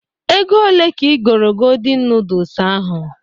Ego ole ka igoro godin nudus ahụ?